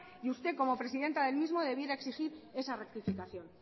y usted como presidenta del mismo debiera exigir esa rectificación